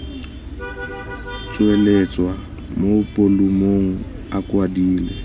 tsweletswa mo bolumong a kwadilwe